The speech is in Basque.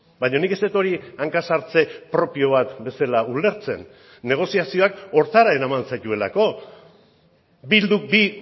baina nik ez dut hori hanka sartze propio bat bezala ulertzen negoziazioak horretara eraman zaituelako bilduk bi